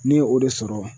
Ne ye o de sɔrɔ